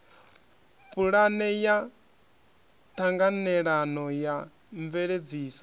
pulane ya ṱhanganelano ya mveledziso